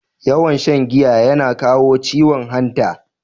Too much intake of alcohol used kidney failure.